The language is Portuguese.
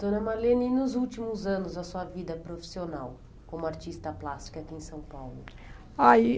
Dona Marlene, e nos últimos anos, a sua vida profissional como artista plástica aqui em São Paulo? AÍ